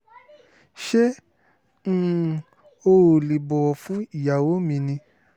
ṣé um o ò lè bọ̀wọ̀ fún ìyàwó mi ni